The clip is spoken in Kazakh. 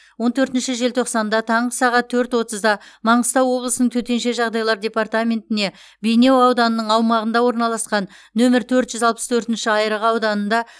он төртінші желтоқсанда таңғы сағат төрт отызда маңғыстау облысының төтенше жағдайлар департаментіне бейнеу ауданының аумағында орналасқан нөмір төрт жүз алпыс төртінші айырығы ауданында